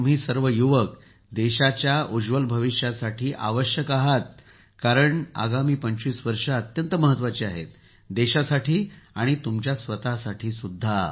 तुम्ही सर्व युवक देशाच्या उज्ज्वल भविष्यासाठी आवश्यक आहात कारण आगामी 25 वर्षे अत्यंत महत्त्वाची आहेत देशासाठी देखील आणि तुमच्या स्वतःसाठी देखील